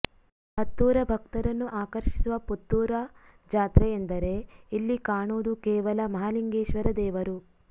ಹತ್ತೂರ ಭಕ್ತರನ್ನು ಆಕರ್ಷಿಸುವ ಪುತ್ತೂರ ಜಾತ್ರೆ ಎಂದರೆ ಇಲ್ಲಿ ಕಾಣುವುದು ಕೇವಲ ಮಹಾಲಿಂಗೇಶ್ವರ ದೇವರು